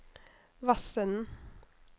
Vassenden